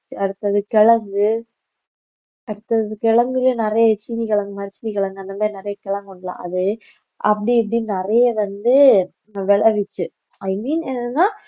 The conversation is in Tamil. அடுத்தது கிழங்கு அடுத்தது கிழங்குலயே நிறைய சீனி கலந்த மாதிரி சீனி கலந்த அந்தமாதிரி நிறைய கிழங்கு இருக்கும்ல அது அப்படி இப்படின்னு நிறைய வந்து விளைவிச்சு i mean என்னன்னா